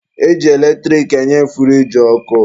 E ji eletrik enye furiji ọkụ.